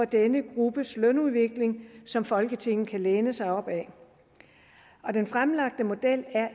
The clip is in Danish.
denne gruppes lønudvikling som folketinget kan læne sig op ad den fremlagte model er